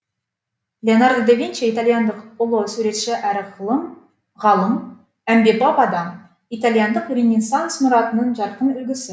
леонардо да винчи италияндық ұлы суретші әрі ғалым әмбебап адам италияндық ренессанс мұратының жарқын үлгісі